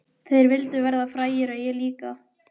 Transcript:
Þeir vildu verða frægir og ég líka.